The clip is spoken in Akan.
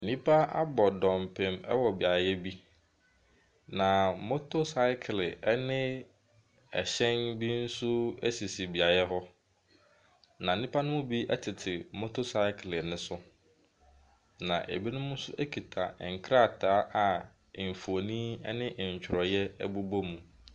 Nnipa abɔ dɔmpem ɛwɔ beaeɛ bi. Na motosykle ɛne ɛhyɛn bi nso ɛsisi beaeɛ hɔ. Na nnipa no bi ɛtete motosykle no so. Na ebinom nso ɛkita nkrataa a mfonin ɛne ntwereɛ ɛbobɔ mu.